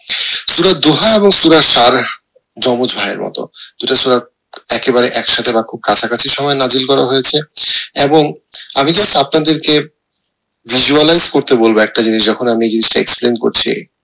সূরা দোহা এবং সূরা জমজ ভাইয়ের মতো দুটা সূরা একেবারে একসাথে বা খুব কাছাকছি সময়ে করা হয়েছে এবং আমি just আপনাদেরকে visualize করতে বলবো একটা জিনিস যখন অন্য জিনিসটা explain করছে